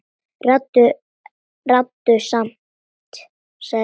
Ráddu samt, sagði Björn.